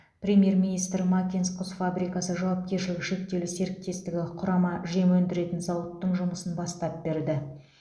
премьер министр макинск құс фабрикасы жауапкершілігі шектеулі серіктестігі құрама жем өндіретін зауыттың жұмысын бастап берді